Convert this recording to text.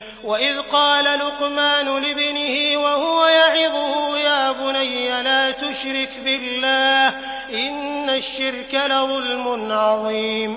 وَإِذْ قَالَ لُقْمَانُ لِابْنِهِ وَهُوَ يَعِظُهُ يَا بُنَيَّ لَا تُشْرِكْ بِاللَّهِ ۖ إِنَّ الشِّرْكَ لَظُلْمٌ عَظِيمٌ